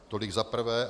Tolik za prvé.